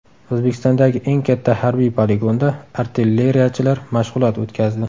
O‘zbekistondagi eng katta harbiy poligonda artilleriyachilar mashg‘ulot o‘tkazdi .